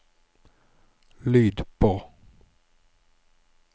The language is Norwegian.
lyd på